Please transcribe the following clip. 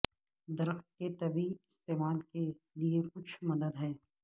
درخت کے طبی استعمال کے لئے کچھ مدد ہے